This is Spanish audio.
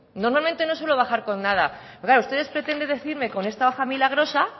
normalmente no suelo bajar con nada pero claro ustedes pretenden decirme con esta hoja milagrosa